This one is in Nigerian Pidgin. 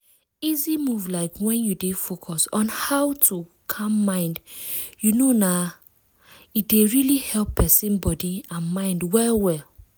easy move like when you dey focus on how to calm mind you know na e dey really help person body and mind well well.